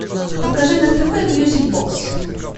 покажи на тв мьюзик бокс